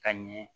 Ka ɲɛ